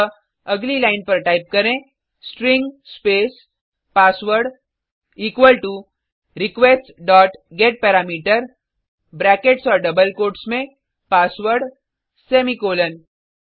अतः अगली लाइन पर टाइप करें string space password equal to request dot get parameter brackets और डबल कोट्स में पासवर्ड सेमीकोलन